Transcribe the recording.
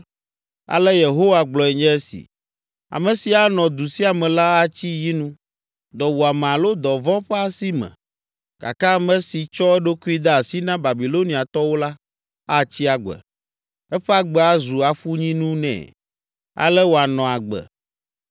“Ale Yehowa gblɔe nye esi: ‘Ame si anɔ du sia me la, atsi yi nu, dɔwuame alo dɔvɔ̃ ƒe asi me, gake ame si tsɔ eɖokui de asi na Babiloniatɔwo la, atsi agbe. Eƒe agbe azu afunyinu nɛ, ale wòanɔ agbe.’